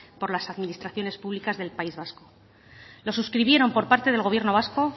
por las administraciones públicas del país vasco lo suscribieron por parte del gobierno vasco